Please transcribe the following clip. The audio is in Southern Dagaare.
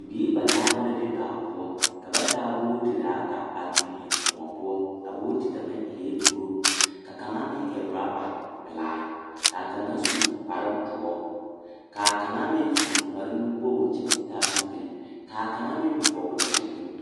Biiri nanaare la be baa poɔ. Ka ba taa bootiree ata a tuŋ eŋ kõɔ poɔ. A booti kaŋa eɛ kuro, ka kaŋa meŋ e orɔba pelaa, ka a kaŋa su kparedoɔ, ka a kaŋ meŋ su kparenuwogri kyɛ ka o taa zupil, ka a kaŋa meŋ vɔgle zupil.